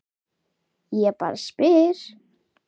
Ég bara spyr